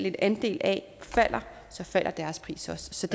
en andel af falder og så falder deres pris også så